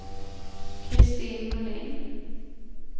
Kristin Molin